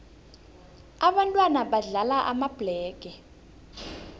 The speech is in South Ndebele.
ababntwana badlala amabhlege